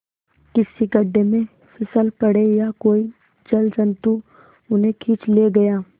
किसी गढ़े में फिसल पड़े या कोई जलजंतु उन्हें खींच ले गया